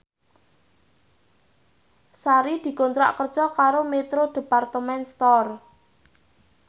Sari dikontrak kerja karo Metro Department Store